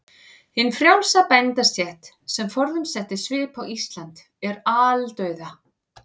Hin frjálsa bændastétt, sem forðum setti svip á Ísland, er aldauða.